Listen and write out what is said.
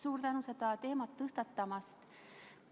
Suur tänu seda teemat tõstatamast!